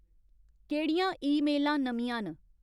केह्ड़ियां ईमेलां नमियां न